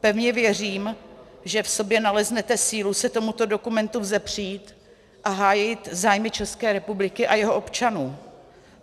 Pevně věřím, že v sobě naleznete sílu se tomuto dokumentu vzepřít a hájit zájmy České republiky a jejích občanů.